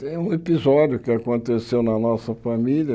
Tem um episódio que aconteceu na nossa família.